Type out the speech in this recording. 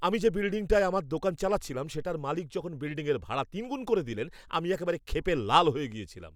আমি যে বিল্ডিংটায় আমার দোকান চালাচ্ছিলাম সেটার মালিক যখন বিল্ডিংয়ের ভাড়া তিনগুণ করে দিলেন আমি একেবারে ক্ষেপে লাল হয়ে গেছিলাম।